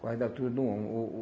Quase da altura de um homem. O o